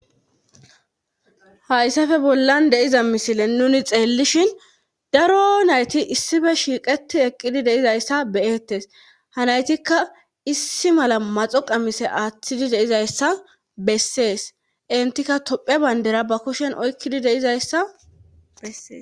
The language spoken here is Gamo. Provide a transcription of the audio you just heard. Haysafe bollan de7iza misilen nuni xeellishen daro nayti issipe shiiqetti eqqidi de7izayssa be7eettes ha naytikka issi mala maxo qamise aadhidi de7izayssa bessees entika toophphiya banddira ba kushen oykkidi de7izayssa besses.